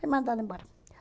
Fui mandada embora.